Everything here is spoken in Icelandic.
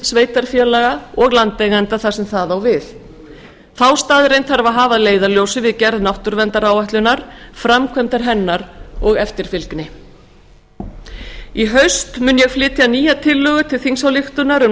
sveitarfélaga og landeigenda þar sem það á við þá staðreynd þarf að hafa að leiðarljósi við gerð náttúruverndaráætlunar í haust mun ég leggja nýja tillögu til þingsályktunar um